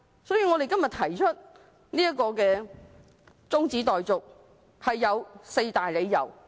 所以，我們今天提出中止待續議案，是有四大理由的。